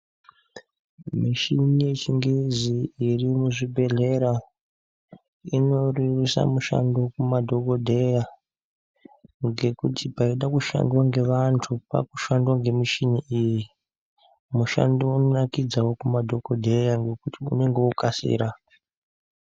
Mishini yechingezi irimuzvibhedhlera inorerusa mushando kumadhokodheya ngekuti paida kushandwa ngevantu pakushandwa ngemishini iyi mushando unonakidzawo kumadhokodheya ngekuti unenge wokasira.